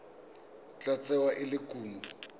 tla tsewa e le kumo